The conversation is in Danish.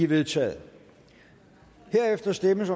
vedtaget herefter stemmes